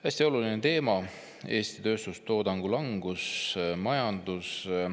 Hästi oluline teema: Eesti tööstustoodangu langus ja majandus.